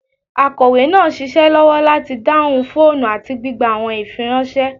Akọwe naa n ṣiṣẹ lọwọ lati dahun foonu ati gbigba awọn ifiranṣẹ